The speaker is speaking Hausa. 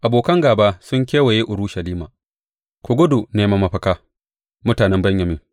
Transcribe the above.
Abokan gāba sun kewaye Urushalima Ku gudu neman mafaka, mutanen Benyamin!